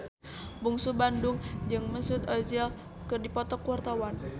Bungsu Bandung jeung Mesut Ozil keur dipoto ku wartawan